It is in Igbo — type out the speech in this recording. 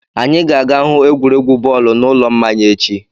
Anyị ga-aga hụ egwuregwu bọọlụ n'ụlọ mmanya echi.